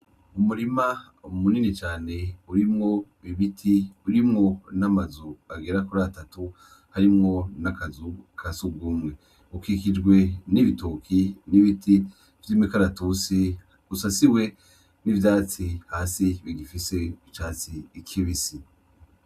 Umurima munini cane urimwo ibiti, urimwo namazu agera kur'atatu harimwo n'akazu kasugumwe, ukikijwe n'ibitoke n'ibiti vy'imikaratusi, usasiwe nivyatsi hasi bigifise icatsi kibisi.